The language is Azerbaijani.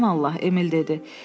Aman Allah, Emil dedi.